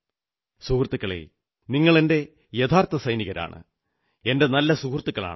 സുഹൃത്തുക്കളേ നിങ്ങളെന്റെ യഥാർഥ സൈനികരാണ് എന്റെ നല്ല സുഹൃത്തുക്കളാണ്